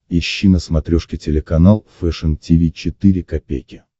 ищи на смотрешке телеканал фэшн ти ви четыре ка